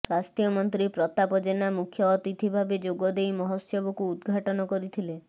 ସ୍ୱାସ୍ଥ୍ୟମନ୍ତ୍ରୀ ପ୍ରତାପ ଜେନା ମୁଖ୍ୟ ଅତିଥି ଭାବେ ଯୋଗଦେଇ ମହୋତ୍ସବକୁ ଉଦ୍ଘାଟନ କରିଥିଲେ